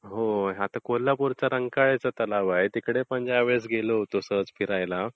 होय. आता कोल्हापूरचा रंकाळाचा तलाव आहेतिकडे पण यावेळेस गेलो होतो सहज फिरायला.